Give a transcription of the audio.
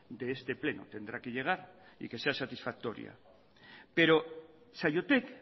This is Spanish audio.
de este pleno tendrá que llegar y que sea satisfactoria pero saiotek